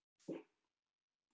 Sigurður þekkti til föður míns.